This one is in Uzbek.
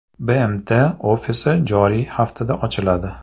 BMT ofisi joriy haftada ochiladi.